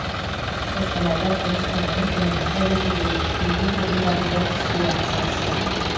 қостанайда ұлыстың ұлы күнін атап өтуге еңбек ұжымдары бір кісідей атсалысты